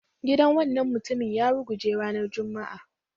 Gidan wannan mutumin ya ruguje ranar Juma'a